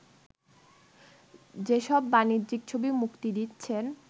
যেসব বাণিজ্যিক ছবি মুক্তি দিচ্ছেন